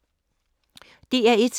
DR1